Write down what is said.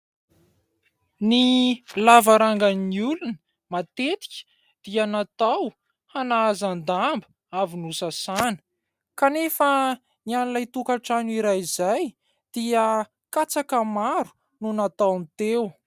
Ny lavarangan'ny olona matetika dia natao hanahazan-damba avy nosasana kanefa ny an'ilay tokatrano iray izay dia katsaka maro no nataony teo.